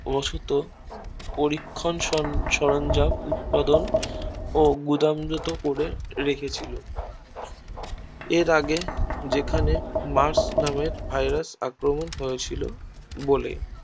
পরীক্ষণ সরঞ্জাম উৎপাদন ও গুদাম জাত করে রেখেছিল এর আগে যেখানে Mars নামের Virus আক্রমণ হয়েছিল বলেই